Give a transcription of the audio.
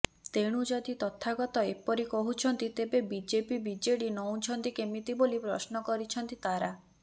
ତେଣୁ ଯଦି ତଥାଗତ ଏପରି କହୁଛନ୍ତି ତେବେ ବିଜେପି ବିଜେଡି ନଉଁଛନ୍ତି କେମିତି ବୋଲି ପ୍ରଶ୍ନ କରିଛନ୍ତି ତାରା